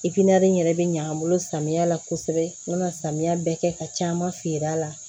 yɛrɛ bɛ ɲa an bolo samiya la kosɛbɛ n bɛna samiya bɛɛ kɛ ka caman feere a la